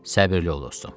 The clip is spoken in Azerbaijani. Səbirli ol dostum.